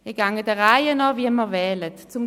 Ich gehe der Reihe nach, so wie wir wählen werden.